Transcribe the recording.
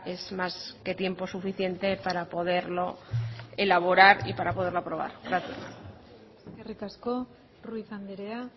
es más que tiempo suficiente para poderlo elaborar y para poderlo aprobar gracias eskerrik asko ruiz andrea